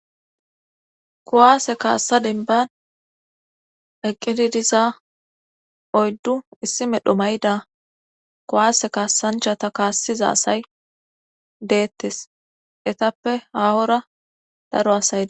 Kowaase kaassa denban eqqidi diza oyddu issi medho mayda kowaase kaassanchata kaassiza asay deettes etappe haawora daro asaydees.